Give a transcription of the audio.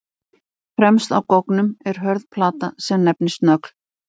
Fremst á goggnum er hörð plata sem nefnist nögl.